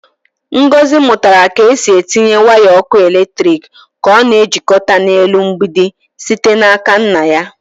Ngọzi mụtara ka e si etinye waya ọkụ eletrik ka a na-ejikọta na-elu mgbidi site n'aka nna ya.